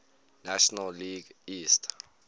national league east